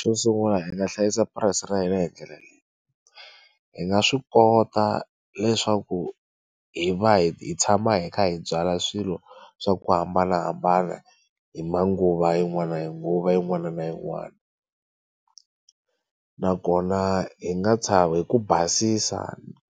Xo sungula hi nga hlayisa purasi ra hina hi ndlela leyi hi nga swi kota leswaku hi va hi tshama hi kha hi byala swilo swa ku hambanahambana hi manguva yin'wana nguva yin'wana na yin'wana nakona hi nga hi ku basisa